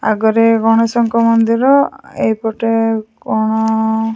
ଆଗରେ ଗଣେଶଙ୍କ ମନ୍ଦିର ଏଇ ପଟେ କ'ଣ--